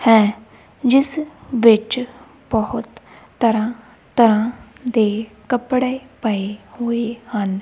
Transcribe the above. ਹੈ ਜਿੱਸ ਵਿੱਚ ਬਹੁਤ ਤਰਹਾਂ ਤਰਹਾਂ ਦੇ ਕੱਪੜੇ ਪਏ ਹੋਏ ਹਨ।